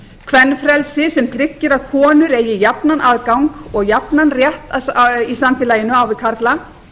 kvenfrelsi sem tryggir að konur eigi jafnan aðgang og jafnan rétt í samfélaginu á við karla